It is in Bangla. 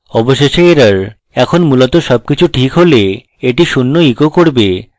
অবশেষে error এখন মূলত সবকিছু ঠিক হলে এটি শূন্য echo করবে